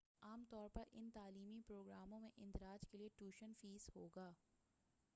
عام طور پر ان تعلیمی پروگراموں میں اندراج کے لیے ٹیوشن فیس ہوگا